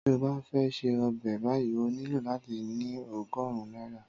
Tí o bá fẹ́ ṣè ọbẹ̀ báyìí ó nílò láti ní ogórùn náírà